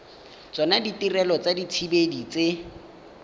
tsona ditirelo tsa dithibedi tse